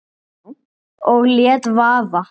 Og lét vaða.